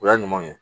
O y'a ɲuman ye